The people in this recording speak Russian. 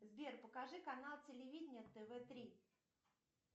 сбер покажи канал телевидение тв три